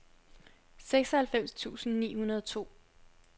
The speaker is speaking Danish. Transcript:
seksoghalvfems tusind ni hundrede og to